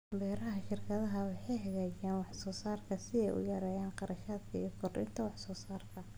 Beeraha shirkadaha waxay hagaajiyaan wax soo saarka si ay u yareeyaan kharashaadka iyo kordhinta wax soo saarka.